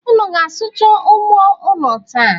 Unu ga-asụcha ugbo unu taa?